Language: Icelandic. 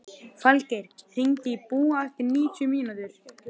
Falgeir, hringdu í Búa eftir níutíu mínútur.